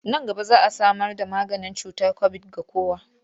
Nan gaba za a samarda maganin cutar kobid ga kowa.